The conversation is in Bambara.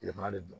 Yɛlɛma de don